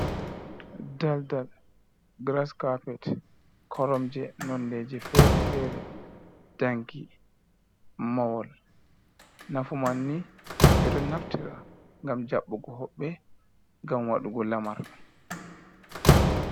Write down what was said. Daldal, giras capet, koromje nondeje fere-fere, danki, mawol nafu manni ɓe ɗo naftira ngam jaɓɓugo hoɓɓe, ngam waɗugo lamaar.